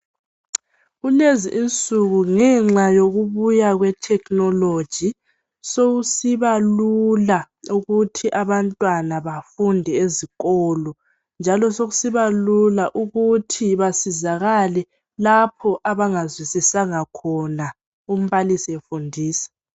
Kulezi insuku ngenxa yokubuya kwe technology sokusiba lula ukuthi abantwana bafunde ezikolo njalo sekusiba lula ukuthi basizakale lapho abangazwisisanga khona umbalisi efundisa